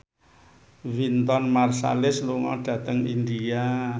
Wynton Marsalis lunga dhateng India